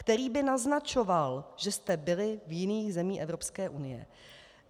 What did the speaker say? - který by naznačoval, že jste byli v jiných zemích Evropské unie.